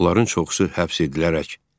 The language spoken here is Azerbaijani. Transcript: Onların çoxu həbs edildi.